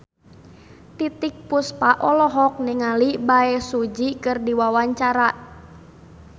Titiek Puspa olohok ningali Bae Su Ji keur diwawancara